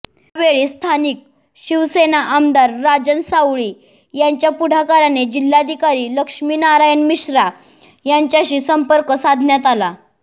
यावेळी स्थानिक शिवसेना आमदार राजन साळवी यांच्या पुढाकाराने जिल्हाधिकारी लक्ष्मीनारायण मिश्रा यांच्याशी संपर्क साधण्यात आला